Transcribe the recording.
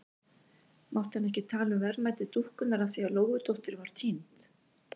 Mátti hann ekki tala um verðmæti dúkkunnar af því að Lóudóttir var týnd?